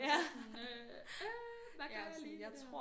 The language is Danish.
Sådan øh øh hvad gør jeg lige med det her